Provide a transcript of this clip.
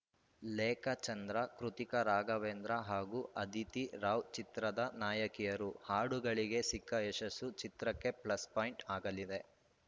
ಲೇಖಾ ಚಂದ್ರ ಕೃತಿಕಾ ರಾಘವೇಂದ್ರ ಹಾಗೂ ಅದಿತಿ ರಾವ್‌ ಚಿತ್ರದ ನಾಯಕಿಯರು ಹಾಡುಗಳಿಗೆ ಸಿಕ್ಕ ಯಶಸ್ಸು ಚಿತ್ರಕ್ಕೆ ಪ್ಲಸ್‌ ಪಾಯಿಂಟ್‌ ಆಗಲಿದೆ